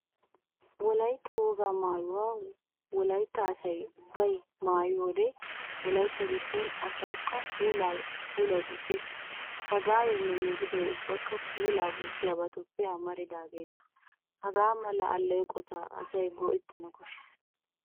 Wolaytta wogaa maayuwa Woaytta asay ubbay maayiyo wode Wolaytta giddon asawukka puulay gujjees. Sagaayoynne migidoy ubbakka puulaa gujjiyabayuppe amaridaageeta. Hagaa mala alleeqota asay go'ettana koshshees.